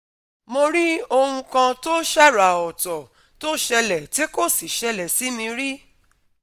Mo rí ohun kan tó ṣàrà ọ̀tọ̀ tó ṣẹlẹ̀ ti ko sí ṣẹlẹ̀ si mi rí